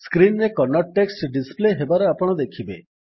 screen ରେ Kannada text display ହେବାର ଆପଣ ଦେଖିବେ